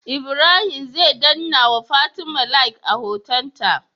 Ibrahim zai danna wa fatim Like a hoton ta